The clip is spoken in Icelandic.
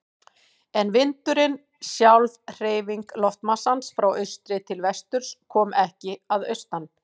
En vindurinn, sjálf hreyfing loftmassans frá austri til vesturs, kom ekki að austan.